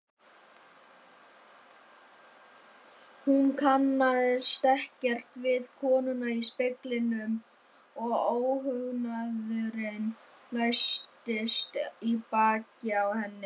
Hún kannaðist ekkert við konuna í speglinum og óhugnaðurinn læstist í bakið á henni.